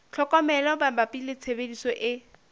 tlhokomelo mabapi le tshebediso e